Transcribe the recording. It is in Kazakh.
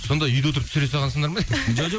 сонда үйде отырып түсіре салғансыңдар ма жоқ